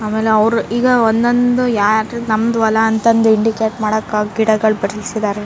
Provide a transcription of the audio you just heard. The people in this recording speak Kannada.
ಆಮೇಲೆ ಅವ್ರು ಈಗ ಒಂದೊಂದೆ ಯಾರ್ ನಮ್ದು ಹೊಲ ಅಂತ ಇಂಡಿಕೇಟ್ ಮಾಡಾಕ ಗಿಡಗಳ್ ಬೆಳ್ಸಿದಾರೆ.